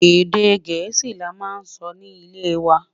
Èdè gèésì là wà má n sọ ní ilẹ wà